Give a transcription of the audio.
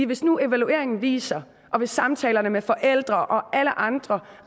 hvis nu evalueringen viser og hvis samtalerne med forældre og alle andre